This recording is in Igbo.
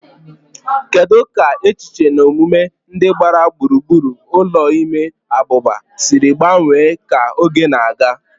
Kedu ka echiche na omume ndị gbara gburugburu ụlọ ime abụba siri gbanwee ka oge na-aga?